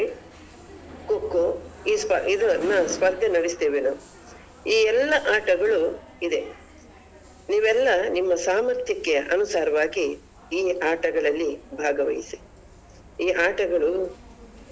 Throw ball, Volleyball, Cricket, Kho-Kho ಈ ಸ್ಪರ್ಧೆ ನಡಿಸ್ತೇವೆ ನಾವು ಈ ಎಲ್ಲ ಆಟಗಳು ಇದೆ ನೀವೆಲ್ಲ ನಿಮ್ಮ ಸಾಮರ್ಥ್ಯಕ್ಕೆ ಅನುಸಾರವಾಗಿ ಈ ಆಟಗಳಲ್ಲಿ ಭಾಗವಹಿಸಿ ಈ ಆಟಗಳು ಕೇವಲ ಬಹುಮಾನ.